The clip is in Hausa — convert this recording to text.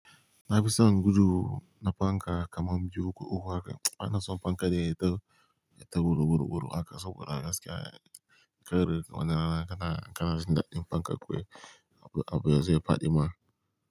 Na fi son gudu na fanka kamar biyu ko uku haka. Ana son fanka da ya yi ta, ya yi ta gudu, gudu, gudu haka saboda gaskiya kar wani rana kana, kana jin daɗin fanka kuwa abun, abun yazo ya faɗi ma.